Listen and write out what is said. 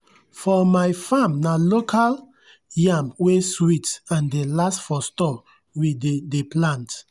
for my farm na local yam wey sweet and dey last for store we dey dey plant.